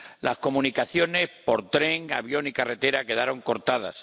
Las comunicaciones por tren, avión y carretera quedaron cortadas.